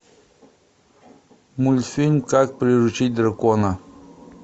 мультфильм как приручить дракона